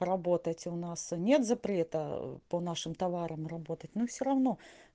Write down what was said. работать у нас нет запрета по нашим товарам работать но все равно